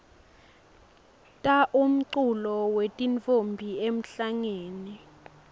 ta umculo wetintfombi emhlangeni